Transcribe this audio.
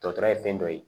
Dɔtɔrɔ ye fɛn dɔ ye